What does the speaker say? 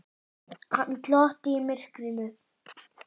Hann glotti í myrkrinu.